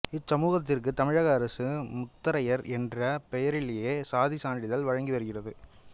இச்சமூகத்திற்கு தமிழக அரசு முத்தரையர் என்ற பெயரிலேயே சாதி சான்றிதழ் வழங்கி வருகிறது